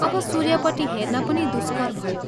अब सूर्यपट्टि हेर्न पनि दुष्कर भयो।